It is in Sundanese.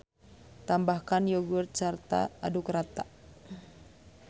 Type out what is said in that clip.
Tambahkan yogurt sarta aduk rata.